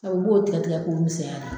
Ɔ i b'o tigɛ tigɛ k'o misɛyara.